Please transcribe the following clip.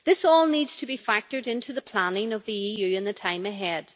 This all needs to be factored into the planning of the EU in the time ahead.